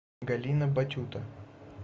галина батюта